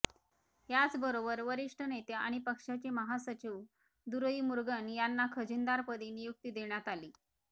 याचबरोबर वरिष्ठ नेते आणि पक्षाचे महासचिव दुरईमुरुगन यांना खजिनदारपदी नियुक्ती देण्यात आली